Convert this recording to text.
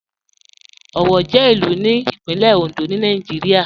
Owo jẹ ilù ní Ìpínlẹ̀ Òndó ni Nàìjírìà.